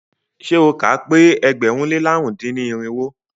Ṣé o kà á pẹ́ ẹgbẹ̀rún lé làrún dín ní irinwó?